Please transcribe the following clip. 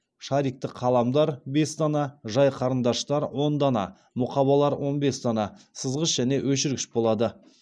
шарикті қаламдар бес дана жай қарындаштар он дана мұқабалар он бес дана сызғыш және өшіргіш болады